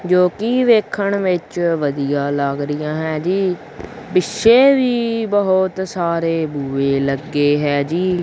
ਜੋ ਕੀ ਵੇਖਣ ਵਿੱਚ ਵਧੀਆ ਲੱਗ ਰਹੀਆਂ ਹੈ ਜੀ ਪਿੱਛੇ ਵੀ ਬਹੁਤ ਸਾਰੇ ਬੂਹੇ ਲੱਗੇ ਹੈ ਜੀ।